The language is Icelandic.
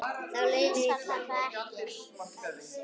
Þá leið mér illa.